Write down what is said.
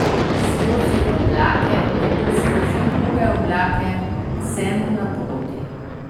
Skozi oblake, nato skozi druge oblake, vsemu naproti.